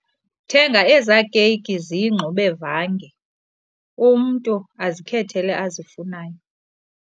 Thenga ezaa keyiki ziyingxubevanga umntu azikhethele azifunayo.